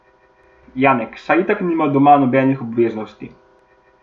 Janek, saj itak nima doma nobenih obveznosti.